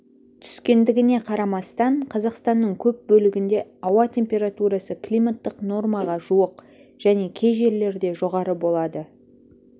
түскендігіне қарамастан қазақстанның көп бөлігінде ауа температурасы климаттық нормаға жуық және кей жерлерде жоғары болады